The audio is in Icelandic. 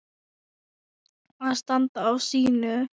Að standa á sínu